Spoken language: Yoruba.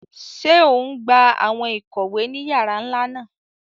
Ṣe o ngbà awọn ikọwe ni yàrà nlá náà?